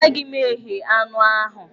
Agaghị m eghe anụ ahụ.